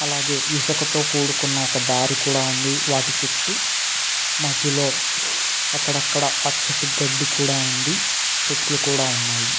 అలాగే ఇసక తో కూడుకుని ఒక దారి కూడా ఉంది. వాటి చుట్టూ మద్యలో అక్కడక్కడా పచ్చటి గడ్డి కూడా ఉంది. చెట్లు కూడా ఉన్నాయి.